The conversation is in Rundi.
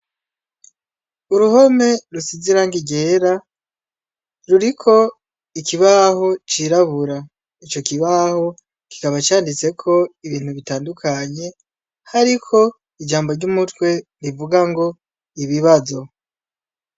Uruhome rusize irangi ryera ruriko ikibaho cirabura ico kibaho kikaba canditseko ibintu bitandukanye hariko ijambo ry' umutwe rivuga ngo ibibazo.